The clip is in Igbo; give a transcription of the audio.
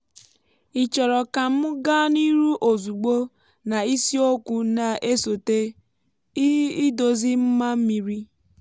ị chọrọ ka m gaa n’ihu ozugbo na isiokwu na-esote: idozi mma mmiri?